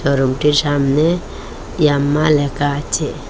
শোরুমটির সামনে ইয়াম্মা লেখা আচে ।